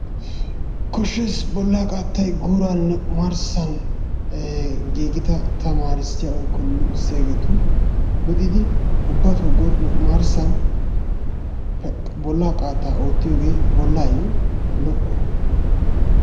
Koshshees bollaa qaattay guuraaninne omarssn giigida tamaarisiyaa woykko luxxisiyageetun luxxidi ubbatoo guuran omarssan bollaa qattaa ootiyoge bollaayo lo''o.